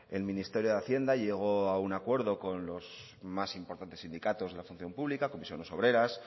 el ministerio de hacienda llegó a un acuerdo con los más importantes sindicatos de la función pública comisiones obreras